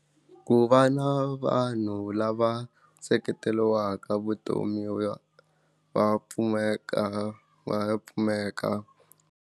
Ku va na vanhu lava seketeliwaka va va va pfumeka vapfumeka.